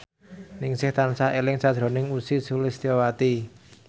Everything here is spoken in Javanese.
Ningsih tansah eling sakjroning Ussy Sulistyawati